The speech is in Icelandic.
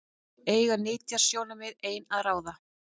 Eiga nytjasjónarmið ein að ráða?